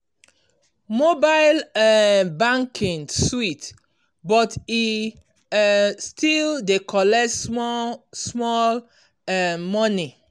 mobile um banking sweet but e um still dey collect small small um money.